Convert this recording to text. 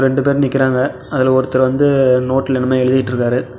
ரண்டு பேர் நிக்கிறாங்க அதுல ஒருத்தர் வந்து நோட்ல என்னமோ எழுதிட்ருக்காரு.